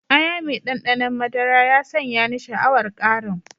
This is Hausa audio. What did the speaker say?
Aya mai ɗanɗanon madara ya sanya ni sha'awar ƙarin.